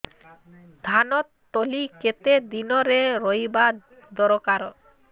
ଧାନ ତଳି କେତେ ଦିନରେ ରୋଈବା ଦରକାର